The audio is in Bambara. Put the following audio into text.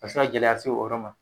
A bi se ka gɛlɛya se o yɔrɔ ma